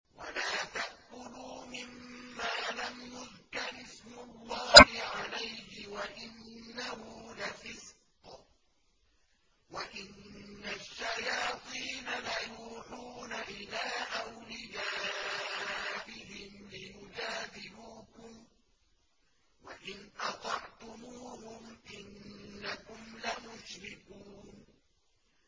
وَلَا تَأْكُلُوا مِمَّا لَمْ يُذْكَرِ اسْمُ اللَّهِ عَلَيْهِ وَإِنَّهُ لَفِسْقٌ ۗ وَإِنَّ الشَّيَاطِينَ لَيُوحُونَ إِلَىٰ أَوْلِيَائِهِمْ لِيُجَادِلُوكُمْ ۖ وَإِنْ أَطَعْتُمُوهُمْ إِنَّكُمْ لَمُشْرِكُونَ